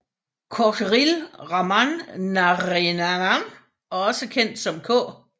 Kocheril Raman Narayanan også kendt som K